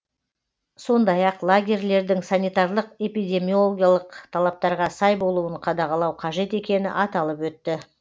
сондай ақ лагерлердің санитарлық эпидемиологиялық талаптарға сай болуын қадағалау қажет екені аталып өтті